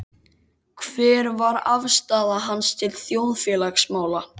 Hver var afstaða hans til þjóðfélagsmála?